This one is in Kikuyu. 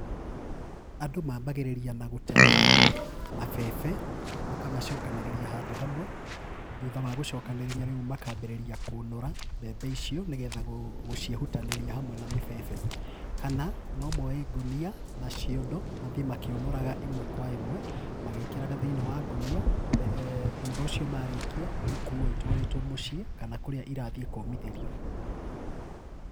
Andũ mambagĩrĩria na gũtema mabebe, makamacokanĩrĩria handũ hamwe, thutha wa gũcokanĩrĩrĩa rĩu makambĩrĩria kũnũra mbembe icio nĩgetha gũciehutanĩria hamwe na mĩbebe. Kana no moe ngũnia na ciondo mathĩĩ makĩũnũraga ĩmwe kwa ĩmwe, magĩkĩraga thĩinĩ wa ngũnia, thutha ũcio marĩkia ikuo itwarĩtwo mũciĩ kana kũrĩa irathiĩ kũmithĩrio.